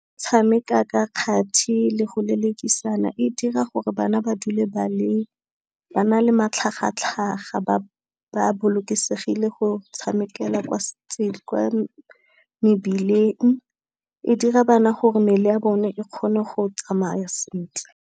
Tshameka ka kgati le go lelekisana e dira gore bana ba dule ba na le matlhagatlhaga, ba bolokesegile go tshamekela kwa mebileng, e dira bana gore mmele ya bone e kgone go tsamaya sentle.